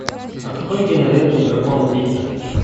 открой киноленту дракон пита